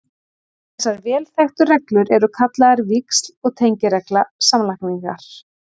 Þessar vel þekktu reglur eru kallaðar víxl- og tengiregla samlagningar.